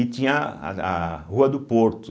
E tinha a a Rua do Porto.